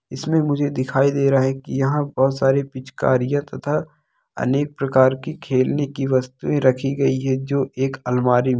इसमें मुझे दिखाई दे रहा है की यहाँ बहुत सारी पिचकारीयाँ तथा अनेक प्रकार कि खेलने की वस्तुये रखी गई है जो एक अलमारी में--